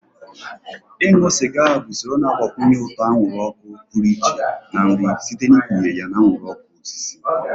Ịṅụ sịga bụ usoro na-agbakwụnye ụtọ anwụrụ ọkụ pụrụ iche na nri site n'ikpughe ya na anwụrụ ọkụ osisi.